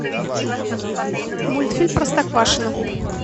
мультфильм простоквашино